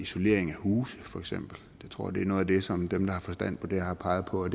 isolering af huse for eksempel jeg tror det er noget af det som dem der har forstand på det har peget på